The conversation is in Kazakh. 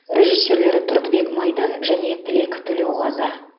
режиссерлері тұрдыбек майдан және тілек төлеуғазы